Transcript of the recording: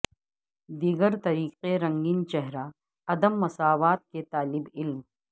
دیگر طریقے رنگین چہرہ عدم مساوات کے طالب علم